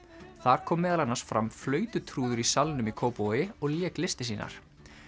þar kom meðal annars fram í Salnum í Kópavogi og lék listir sínar